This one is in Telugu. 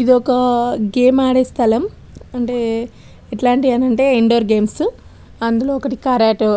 ఇది ఒక గేమ్ ఆడే స్థలం అంటే ఎట్లలాంటివి అంటే ఇండోర్ గేమ్స్ అందులో ఒకటి కరేటె